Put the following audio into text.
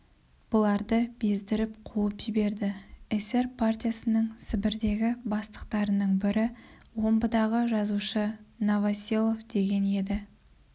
бұларды бездіріп қуып жіберді эсер партиясының сібірдегі бастықтарының бірі омбыдағы жазушы новоселов деген еді